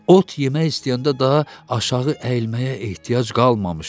Ot yemək istəyəndə daha aşağı əyilməyə ehtiyac qalmamışdı.